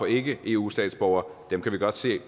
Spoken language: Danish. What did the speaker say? ikke er eu statsborgere dem kan vi godt se